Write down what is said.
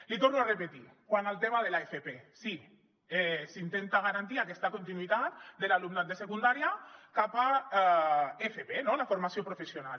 l’hi torno a repetir quant al tema de l’fp sí s’intenta garantir aquesta continuïtat de l’alumnat de secundària cap a fp no la formació professional